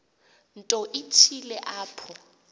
nto ithile apho